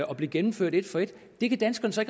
og blevet gennemført et for et det kan danskerne så